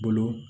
Bolo